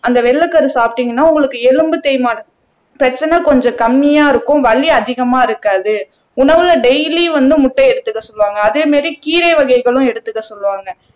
அந்த வெள்ளைக்கரு சாப்பிட்டீங்கன்னா உங்களுக்கு எலும்பு தேய்மானம் பிரச்சனை கொஞ்சம் கம்மியா இருக்கும் வலி அதிகமா இருக்காது உணவுல டெய்லி வந்து முட்டை எடுத்துக்க சொல்லுவாங்க அதே மாதிரி கீரை வகைகளும் எடுத்துக்க சொல்லுவாங்க